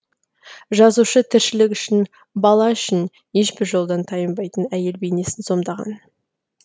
жазушы тіршілік үшін бала үшін ешбір жолдан тайынбайтын әйел бейнесін сомдаған